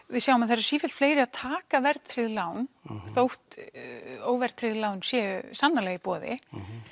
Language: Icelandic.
við sjáum að það eru sífellt fleiri að taka verðtryggð lán þótt óverðtryggð lán séu sannarlega í boði